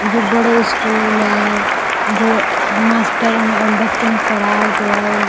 जे बड़ो स्कूल हैं जो मास्टर अ बच्चन को पढ़ाउत हैं।